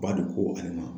Ba don ko ale ma